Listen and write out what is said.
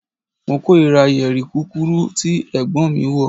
Mo korira yeri kukuru ti Ẹ̀gbọ́n mi wọ